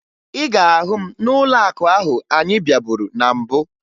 Ị ga-ahụ m n'ụlọakụ ahụ anyị bịaburu na mbụ